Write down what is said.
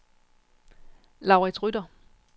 Laurits Rytter